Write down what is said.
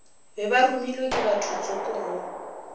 be baromilwe ke bathotsoko go